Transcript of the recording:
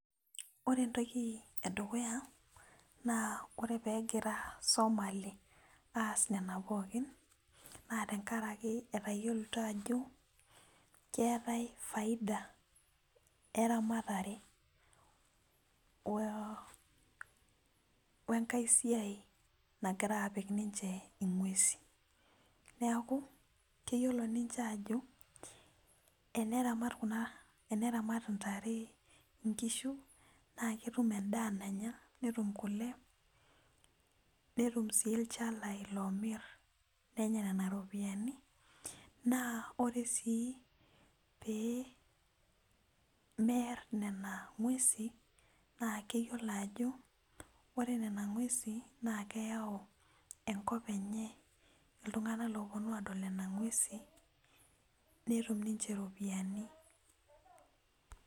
Ore entoki edukuya na ore pegira somali aas nona pookin na tenkaraki etayioloito ajo keetai faidia eramatare wenkae siai nagira apik ninche inwgesin neaku kenyiolo ninche ajo teneramat ntare nkishu na ketum kule, netum si ilchalai omir nenya nonabripiyani na ore si pemear nona ngwesi na keyiolo ajo ore nona ngwesi nakeyau enkop enye ltunganak oponu adol nona ngwesi netum ninche iropiyani.